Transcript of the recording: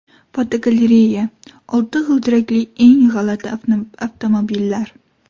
Fotogalereya: Olti g‘ildirakli eng g‘alati avtomobillar.